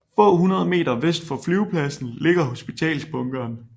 Få hundrede meter vest for flyvepladsen ligger hospitalsbunkeren